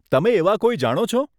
તમે એવા કોઈ જાણો છો?